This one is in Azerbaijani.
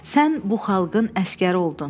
Sən bu xalqın əsgəri oldun.